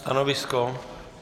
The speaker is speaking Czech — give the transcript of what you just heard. Stanovisko?